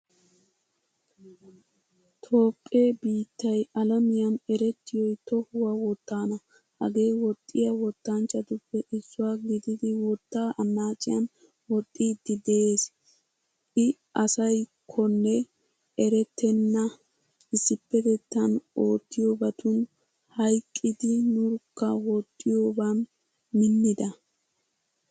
Toophphe biittay alamiyan erettiyoy tohuwaa wottana. Hagee woxiya wottanchchatupoe issuwaa gididi wotta annaciyan woxxidi de'ees. I aysakone eretena issipetettan ootiyobatun hayqqidi nurkka woxiyoban minnida.